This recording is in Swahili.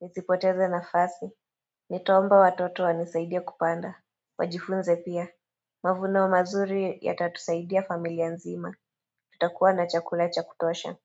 Nisipoteze nafasi. Nitaomba watoto wanisaidie kupanda. Wajifunze pia. Mavuno mazuri yatatusaidia familia nzima. Tutakuwa na chakula cha kutosha.